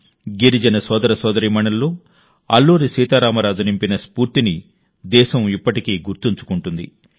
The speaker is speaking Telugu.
గిరిజన సోదర సోదరీమణుల్లో అల్లూరి సీతారామరాజు నింపిన స్ఫూర్తిని దేశం ఇప్పటికీ గుర్తుంచుకుంటుంది